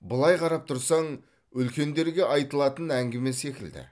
былай қарап тұрсаң үлкендерге айтылатын әңгіме секілді